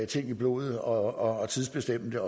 ting i blodet og tidsbestemme det